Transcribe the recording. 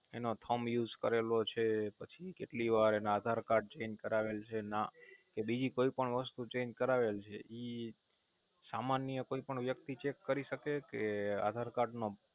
એનો Pillar use કરેલો છે પછી કેટલી વાર એના આધારકાર્ડ Change કરાવેલ છે કે બીજી કોઈ પણ વસ્તુ Change કરાવેલ છે ઈ સામાન્ય કોઈ પણ વ્યકતિ Cheque કરી શકે કે આધારકાર્ડ નો